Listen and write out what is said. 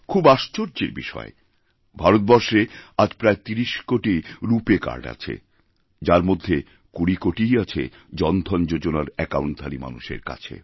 খুব আশ্চর্যের বিষয় ভারতবর্ষে আজ প্রায় ৩০ কোটি রূপে কার্ড আছে যার মধ্যে ২০কোটিই আছে জনধন যোজনার অ্যাকাউন্টধারী মানুষের কাছে